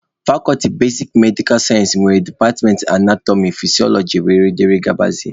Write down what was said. Fakọlti basik medikal sayensị nwere departmentị anatọmị, fisiọlọji wdg.